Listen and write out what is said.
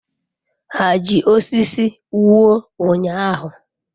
Ha ji osisi wuo ụnyaahụ?